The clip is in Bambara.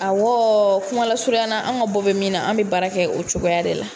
Awɔɔɔ kumalasurunyana an ka bɔ bɛ min na an bɛ baara kɛ o cogoya de la.